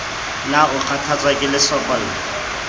na o kgathatswa ke lesokolla